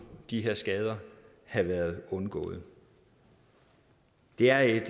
de her skader have været undgået det er et